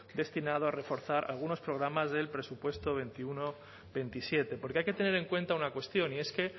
destinado a reforzar algunos programas del presupuesto veintiuno veintisiete porque hay que tener en cuenta una cuestión y es que